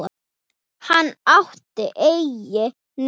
Hann átti enginn nema